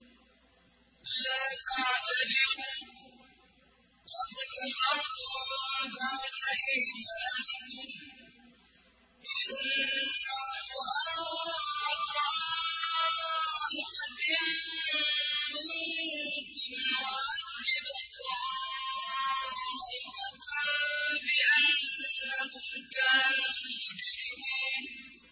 لَا تَعْتَذِرُوا قَدْ كَفَرْتُم بَعْدَ إِيمَانِكُمْ ۚ إِن نَّعْفُ عَن طَائِفَةٍ مِّنكُمْ نُعَذِّبْ طَائِفَةً بِأَنَّهُمْ كَانُوا مُجْرِمِينَ